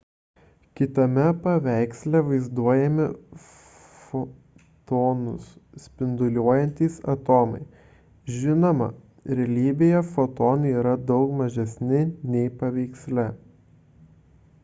kitame paveiksle vaizduojami fotonus spinduliuojantys atomai žinoma realybėje fotonai yra daug mažesni nei paveiksle